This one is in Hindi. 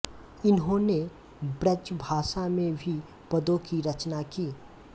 इन्होंने ब्रजभाषा में भी पदों की रचना की